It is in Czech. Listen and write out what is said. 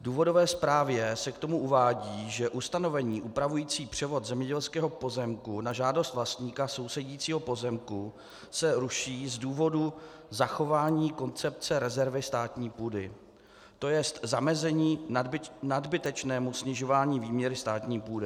V důvodové zprávě se k tomu uvádí, že ustanovení upravující převod zemědělského pozemku na žádost vlastníka sousedícího pozemku se ruší z důvodu zachování koncepce rezervy státní půdy, to jest zamezení nadbytečného snižování výměry státní půdy.